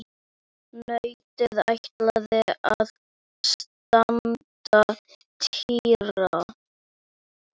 Nautið ætlaði að stanga Týra.